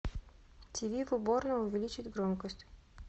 тиви в уборной увеличить громкость